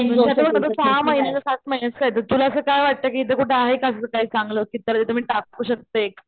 पण तो आता सहा महिन्याचं सात महिन्याचं काय तरी तुला असं काय वाटत कि इथे कुठे आहे का असं काही चांगलं कि जिथे त्याला मी टाकू शकते.